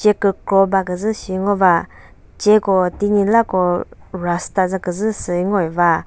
ce kükro baküzü sü ngova ce ko tünyilako rust tazü küzü süi ngoiva.